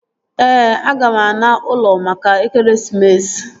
Ee, aga m ana ụlọ maka ekeresimesi